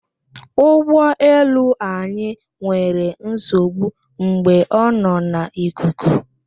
Ụgbọ elu anyị nwere nsogbu mgbe ọ nọ n'ikuku